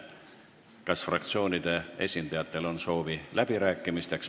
Kas fraktsioonide esindajatel on soovi läbi rääkida?